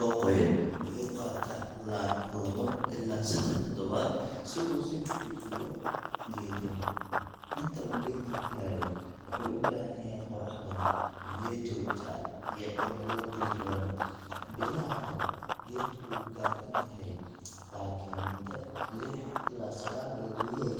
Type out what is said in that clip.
oo qoyan, wuxuu qaataa ilaa lawo ilaa seddax toddobaad si uu u soo bixiyo geed yar. Inta uu geedka korayo, wuxuu u baahan yahay qorrax badan, biyo joogto ah, iyo cimilo diirran. Bilaha hore, geedku wuu gaabin yahay, laakin muddo lix ilaa sagaal bilood gudahood,